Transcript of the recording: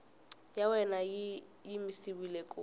ya wena yi yimisiwile ku